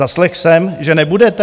Zaslechl jsem, že nebudete?